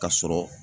Ka sɔrɔ